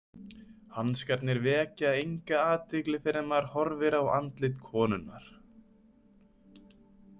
Hanskarnir vekja enga athygli fyrr en maður horfir á andlit konunnar.